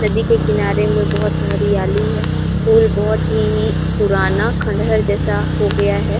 नदी के किनारे में बोहोत हरियाली है पूल बोहोत ही पुराना खंडहर जैसा हो गया हैं।